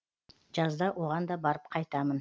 жазда оған да барып қайтамын